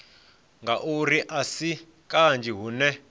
ngauri a si kanzhi hune